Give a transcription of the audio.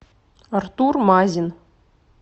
артур мазин